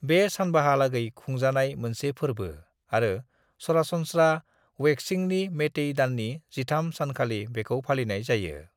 बे सानबाहालागै खुंजानाय मोनसे फोरबो आरो सरासनस्रा वेकचिंगनि मैतेई दाननि 13 सानखालि बेखौ फालिनाय जायो।